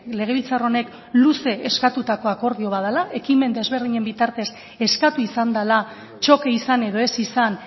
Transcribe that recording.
legebiltzar honek luze eskatutako akordio bat dela ekimen desberdinen bitartez eskatu izan dela txoke izan edo ez izan